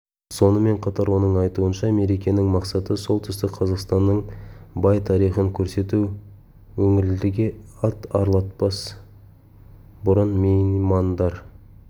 сонымен қатар оның айтуынша мерекенің мақсаты солтүстік қазақстанның бай тарихын көрсету өңірлерге ат арылтпас бұрын меймандар